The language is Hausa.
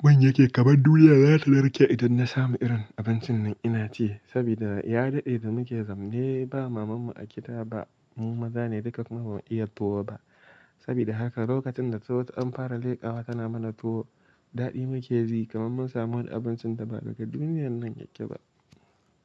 Gwan yake kamar duniya za ta lurke idan na samu irin abincin nan ina ce. Saboda ya daɗe da muke zamne ba mamanmu a kida ba, mu maza ne duka kuma ba mu iya tuwo ba. Saboda haka lokacin da tazo ta ɗan fara leƙawa tana mana tuwo, daɗi muke yi kamar mun samu abincin da ba daga duniyan nan yake ba.